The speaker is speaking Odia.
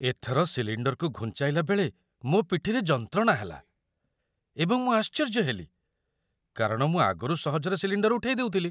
ଏଥର ସିଲିଣ୍ଡରକୁ ଘୁଞ୍ଚାଇଲା ବେଳେ ମୋ ପିଠିରେ ଯନ୍ତ୍ରଣା ହେଲା, ଏବଂ ମୁଁ ଆଶ୍ଚର୍ଯ୍ୟ ହେଲି, କାରଣ ମୁଁ ଆଗରୁ ସହଜରେ ସିଲିଣ୍ଡର ଉଠେଇ ଦେଉଥିଲି।